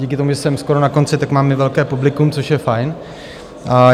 Díky tomu, že jsem skoro na konci, tak mám i velké publikum, což je fajn.